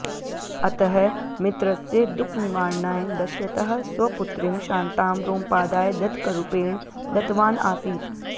अतः मित्रस्य दुःखनिवारणाय दशरथः स्वपुत्रीं शान्तां रोमपादाय दत्तकरूपेण दत्तवान् आसीत्